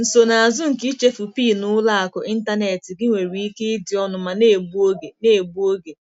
Nsonazụ nke ichefu PIN ụlọ akụ ịntanetị gị nwere ike ịdị ọnụ ma na-egbu oge. na-egbu oge.